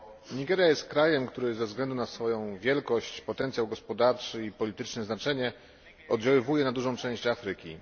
Nigeria jest krajem, który ze względu na swoją wielkość, potencjał gospodarczy i polityczne znaczenie oddziaływuje na dużą część Afryki.